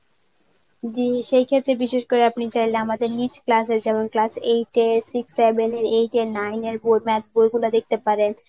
জি সেই ক্ষেত্রে বিশেষ করে আপনি চাইলে আমাদের নিচ class এ যেমন class eight এ six seven এর eight এ nine এর বই math বইগুলা দেখতে পারেন.